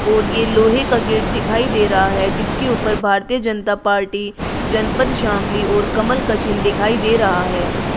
और ये लोहे का गेट दिखाई दे रहा है जिसके ऊपर भारतीय जनता पार्टी जनपद शामली और कमल का चिन्ह दिखाई दे रहा है।